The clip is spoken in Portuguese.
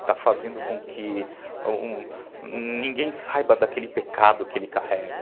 Está fazendo com que ninguém saiba daquele pecado que ele carrega.